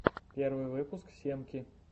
первый выпуск семки